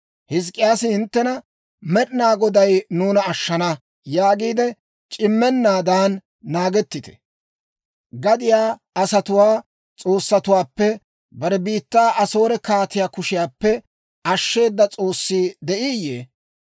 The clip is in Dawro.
«Hizk'k'iyaasi hinttena, ‹Med'inaa Goday nuuna ashshana› yaagiide c'immennaadan naagettite. Gadiyaa asatuwaa s'oossatuwaappe bare biittaa Asoore kaatiyaa kushiyaappe ashsheeda s'oossi de'iiyye?